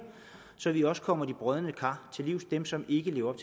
så vi også kommer de brodne kar til livs dem som ikke lever